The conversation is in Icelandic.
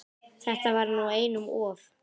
Þetta var nú einum of!